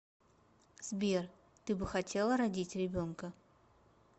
сбер ты бы хотела родить ребенка